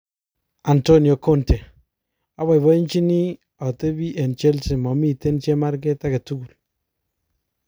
Antonio Conte:oboiboechini' otebi eng Chelsea momiten chemarget agetugul